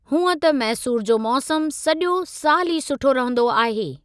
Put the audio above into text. हूंअं त मैसूरु जो मौसमु सॼो साल ई सुठो रहंदो आहे।